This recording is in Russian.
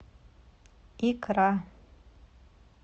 икра